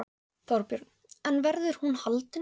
Þorbjörn: En verður hún haldin?